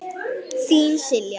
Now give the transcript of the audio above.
Þín, Silja.